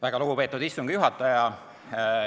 Väga lugupeetud istungi juhataja!